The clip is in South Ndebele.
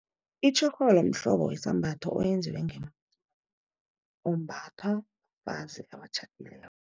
Itjhorholo mhlobo wesambatho, oyenziwe umbathwa bafazi abatjhadileko.